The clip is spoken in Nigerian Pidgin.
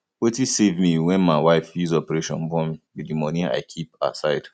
wetin save me wen my wife use operation born be the money i keep aside